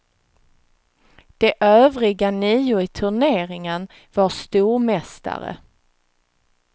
De övriga nio i turneringen var stormästare.